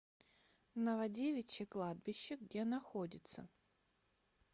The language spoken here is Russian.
новодевичье кладбище где находится